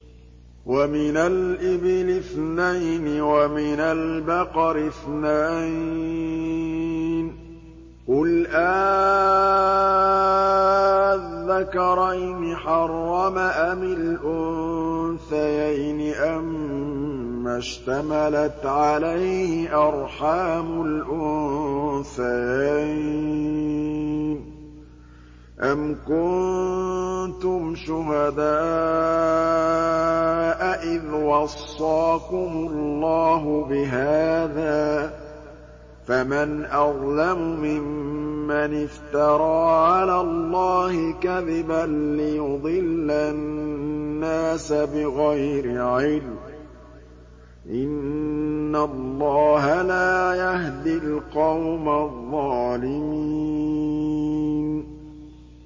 وَمِنَ الْإِبِلِ اثْنَيْنِ وَمِنَ الْبَقَرِ اثْنَيْنِ ۗ قُلْ آلذَّكَرَيْنِ حَرَّمَ أَمِ الْأُنثَيَيْنِ أَمَّا اشْتَمَلَتْ عَلَيْهِ أَرْحَامُ الْأُنثَيَيْنِ ۖ أَمْ كُنتُمْ شُهَدَاءَ إِذْ وَصَّاكُمُ اللَّهُ بِهَٰذَا ۚ فَمَنْ أَظْلَمُ مِمَّنِ افْتَرَىٰ عَلَى اللَّهِ كَذِبًا لِّيُضِلَّ النَّاسَ بِغَيْرِ عِلْمٍ ۗ إِنَّ اللَّهَ لَا يَهْدِي الْقَوْمَ الظَّالِمِينَ